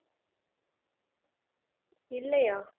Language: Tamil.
இல்லையா